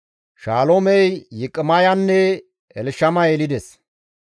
Shaloomey Yiqaamiyanne Elshama yelides.